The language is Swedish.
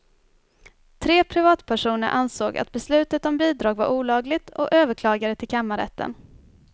Tre privatpersoner ansåg att beslutet om bidrag var olagligt och överklagade till kammarrätten.